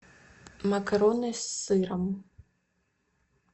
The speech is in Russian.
макароны с сыром